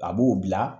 A b'o bila